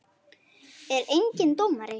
Er enginn dómari?